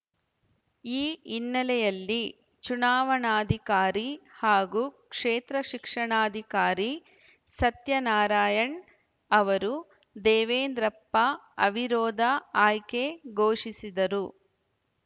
ಈ ಹಿನ್ನೆಲೆಯಲ್ಲಿ ಚುನಾವಣಾಧಿಕಾರಿ ಹಾಗೂ ಕ್ಷೇತ್ರ ಶಿಕ್ಷಣಾಧಿಕಾರಿ ಸತ್ಯನಾರಾಯಣ್‌ ಅವರು ದೇವೇಂದ್ರಪ್ಪ ಅವಿರೋಧ ಆಯ್ಕೆ ಘೋಷಿಸಿದರು